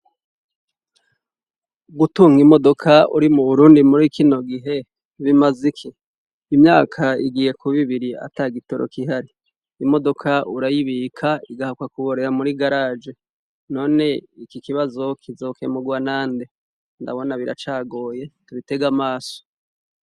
Gutunga imodoka uri muburundi muri kinogihe bimaze iki imyaka igiye kuba ibiri atagitoro gihari imodoka urayibika igahakwa kuborera muri garage none iki kibazo kizokemurwa nande ndabona biracagoye tubitege amaso